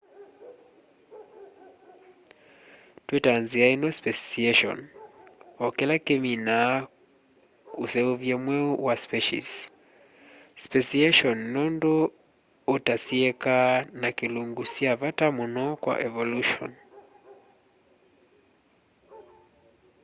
twitaa nzia ino speciation o kila kiminiaa useuvya mweu wa species speciation nundu utasieeka na kilungu kya vata muno kwa evolution